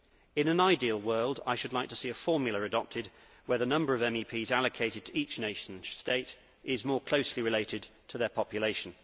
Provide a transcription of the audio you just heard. In an ideal world I should like to see a formula adopted where the number of MEPs allocated to each nation state is more closely related to their population.